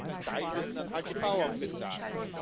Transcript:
Einen Teil müssen dann halt die Bauern bezahlen.